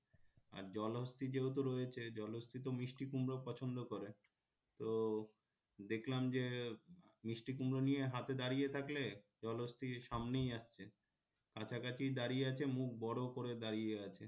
আর জলহস্তি যেহেতু রয়েছে জলহস্তি তো মিষ্টি কুমড়ো পছন্দ করে তো দেখলাম যে মিষ্টি কুমড়ো নিয়ে হাতে দাঁড়িয়ে থাকলে জলহস্তি সামনেই আসছে কাছাকাছি দাঁড়িয়ে আছে মুখ বড় করে দাঁড়িয়ে আছে